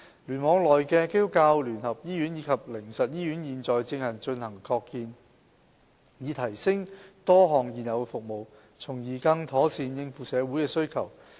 聯網內的基督教聯合醫院及靈實醫院現正進行擴建，以提升多項現有的服務，從而更妥善應付社會需求。